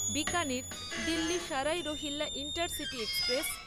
Bikaner Delhi Sarai Rohilla intercity express